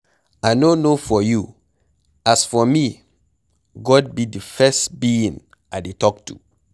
I no know for you, as for me God be the first being I dey talk to.